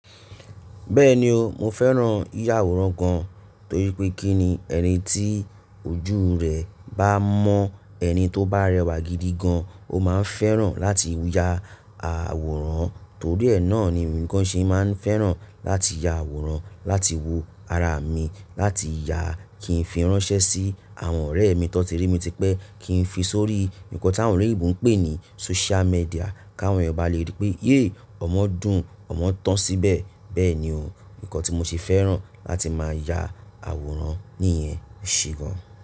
Bẹ́ẹ̀ni o, mo fẹ́ràn yiyà àwòrán gan, torí pé kí ni ẹ̀nití ojú rẹ bá mọ́ ẹni tó bá rẹwà gidi gan, o máa fẹ́ràn láti ya àwòrán. Torí ẹ náà ni èmi gan ṣe máa ń fẹ́ràn láti ya àwòrán, láti wo ara mi, láti yàá kí n fi ránṣẹ́ sí àwọn ọ̀rẹ́ mi tó ti rí mi, tí pẹ́ kí n fi sórí nǹkan tí àwọn ọ̀rẹ́ ìbò ń pè ní social media, káwọn ènìyàn bá le rí pé yéé! Ọmọ dùn, ọmọ tán síbẹ̀. Bẹ́ẹ̀ni o, nǹkan tí mo ṣe fẹ́ràn láti máa ya àwòrán nìyẹn e ṣe gan.